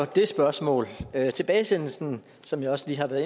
det spørgsmål tilbagesendelsen som jeg også lige har været